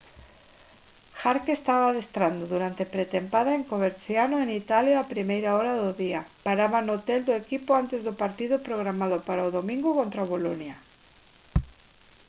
jarque estaba adestrando durante pretempada en coverciano en italia a primeira hora do día paraba no hotel do equipo antes do partido programado para o domingo contra o boloña